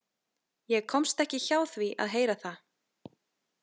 Ég komst ekki hjá því að heyra það.